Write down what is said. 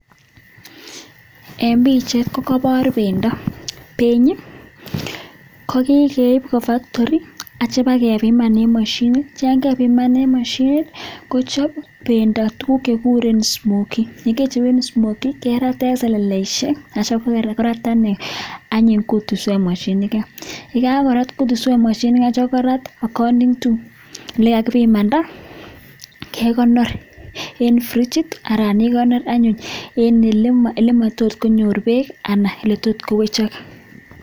eng pichaiit ko kepar pendo atatyeem keip kwaa mashinit atatem keip akindee olemamii peek anan ko olemakoi kowechaakigs